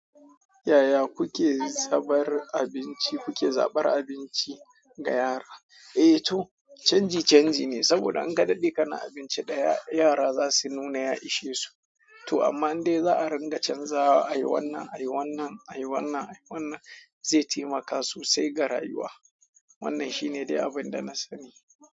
Yaya kuke zabar abinci, kuke zabar abinci ga yara? Eh to canji canji ne, saboda in ka daɗe kana abinci ɗaya, yara za su nuna ya ishe su to amma in dai za a ringa canzawa, ayi wannan, ayi wannan, ayi wannan, ayi wannan zai taimaka sosai ga rayuwa. Wannan shi ne dai abin da na sani.